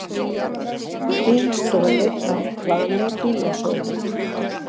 Bíl stolið af plani bílasölu